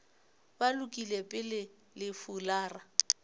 ba lokile pele le fulara